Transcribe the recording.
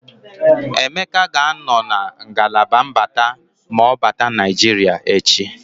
Emeka ga-anọ na ngalaba mbata ma ọ bata Naịjiria echi.